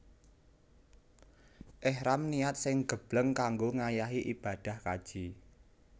Ihram niat sing gebleng kanggo ngayahi ibadah kaji